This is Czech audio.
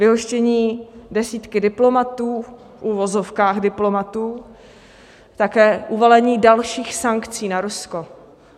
Vyhoštění desítky diplomatů, v uvozovkách diplomatů, také uvalení dalších sankcí na Rusko.